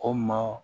Ko maa